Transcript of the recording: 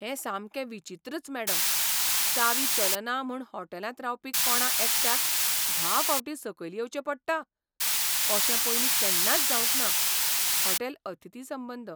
हें सामकें विचित्रच, मॅडम. चावी चलना म्हूण होटॅलांत रावपी कोणा एकट्याक धा फावटीं सकयल येवचें पडटा? अशें पयलीं केन्नाच जावंक ना. हॉटेल अतिथी संबंद